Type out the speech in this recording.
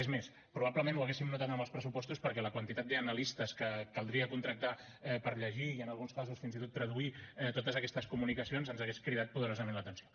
és més probablement ho hauríem notat en els pressupostos perquè la quantitat d’analistes que caldria contractar per llegir i en alguns casos fins i tot traduir totes aquestes comunicacions ens hauria cridat poderosament l’atenció